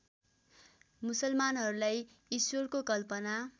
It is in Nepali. मुसलमानहरूलाई इश्वरको कल्पना